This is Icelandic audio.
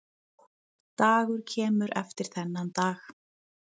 Dagur kemur eftir þennan dag.